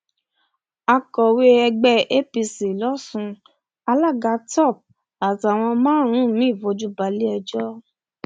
akọwé ẹgbẹ apc lọsùn alága top àtàwọn márùnún mii fojú bale ẹjọ